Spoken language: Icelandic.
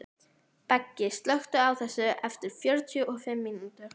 Beggi, slökktu á þessu eftir fjörutíu og fimm mínútur.